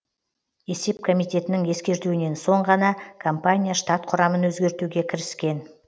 есеп комитетінің ескертуінен соң ғана компания штат құрамын өзгертуге кіріскен